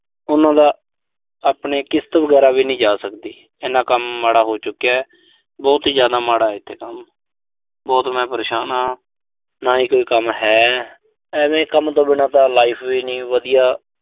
ਉਨ੍ਹਾਂ ਦਾ ਆਪਣੇ ਕਿਸ਼ਤ ਵਗੈਰਾ ਵੀ ਨੀਂ ਜਾ ਸਕਦੀ। ਇਨਾ ਕੰਮ ਮਾੜਾ ਹੋ ਚੁੱਕਿਆ। ਬਹੁਤ ਹੀ ਜ਼ਿਆਦ ਮਾੜਾ ਇਥੇ ਤਾਂ। ਬਹੁਤ ਮੈਂ ਪਰੇਸ਼ਾਨ ਆਂ। ਨਾ ਹੀ ਕੋਈ ਕੰਮ ਹੈ। ਐਵੇਂ ਕੰਮ ਤੋਂ ਬਿਨਾਂ ਤਾਂ life ਵੀ ਨੀਂ ਵਧੀਆ।